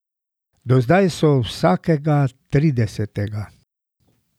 Do zdaj so vsakega tridesetega.